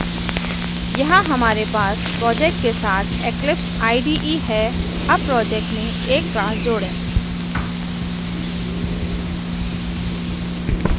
यहाँ हमारे पास प्रोजेक्ट के साथ eclipse ide है अब प्रोजेक्ट में एक क्लास जोड़ें